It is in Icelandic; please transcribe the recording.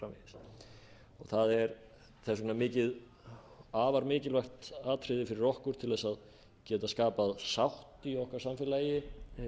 svo framvegis það er þess vegna afar mikilvægt atriði fyrir okkur til þess að geta skapað sátt í afar samfélagi